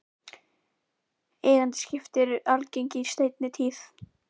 Eigendaskipti eru algeng í seinni tíð.